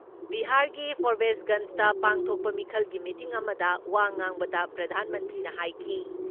ꯕꯤꯍꯥꯔꯒꯤ ꯐꯣꯔꯕꯦꯁꯒꯟꯁꯗ ꯄꯥꯡꯊꯣꯛꯄ ꯃꯤꯈꯜꯒꯤ ꯃꯇꯤꯡ ꯑꯃꯗ ꯋꯥ ꯉꯥꯡꯕꯗ ꯄ꯭ꯔꯙꯥꯟ ꯃꯟꯇ꯭ꯔꯤꯅ ꯍꯥꯏꯈꯤ